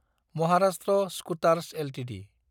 Maharashtra scooters Ltd